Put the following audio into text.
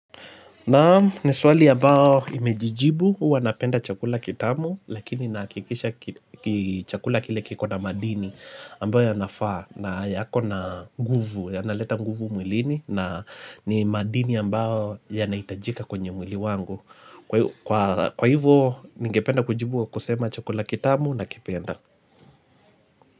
Naam ni swali ambao imejijibu uwa napenda chakula kitamu lakini nahakikisha kichakula kile kikona madini ambayo yanafa na yako na nguvu yanaleta nguvu mwilini na ni madini ambao yanaitajika kwenye mwili wangu kwa hivyo ningependa kujibu kusema chakula kitamu na kipenda.